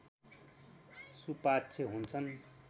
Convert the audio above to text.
सुपाच्य हुन्छन्